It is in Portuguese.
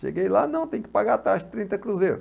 Cheguei lá, não, tem que pagar a taxa trinta cruzeiros.